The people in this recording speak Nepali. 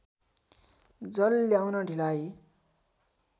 जल ल्याउन ढिलाइ